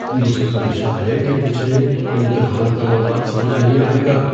مجھے خدشہ ہے کہ مجھے امتحان کا مواد سمجھ نہیں آئے گا۔